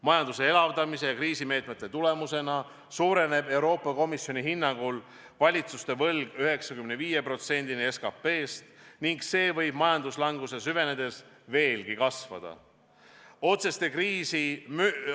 Majanduse elavdamise ja kriisimeetmete võtmise tulemusena suureneb Euroopa Komisjoni hinnangul valitsuste võlg 95%-ni SKT-st ning majanduslanguse süvenedes võib see kasvada veelgi.